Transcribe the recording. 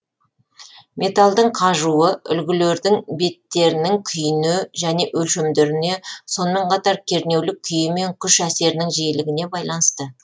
металдың қажуы үлгілердің беттерінің күйіне және өлшемдеріне сонымен қатар кернеулік күйі мен күш әсерінің жиілігіне байланысты